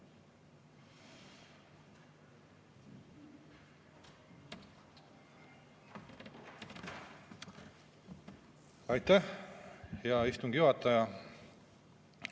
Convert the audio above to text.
Aitäh, hea istungi juhataja!